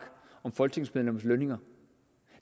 om folketingsmedlemmers lønninger